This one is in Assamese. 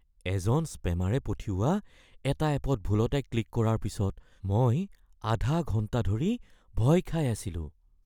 এজন স্পেমাৰে পঠিওৱা এটা এপত ভুলতে ক্লিক কৰাৰ পিছত মই আধা ঘণ্টা ধৰি ভয় খাই আছিলোঁ।